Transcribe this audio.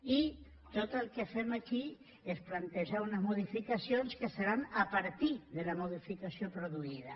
i tot el que fem aquí és plantejar unes modificacions que seran a partir de la modificació produïda